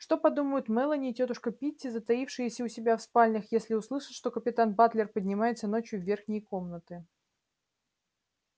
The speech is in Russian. что подумают мелани и тётушка питти затаившиеся у себя в спальнях если услышат что капитан батлер поднимается ночью в верхние комнаты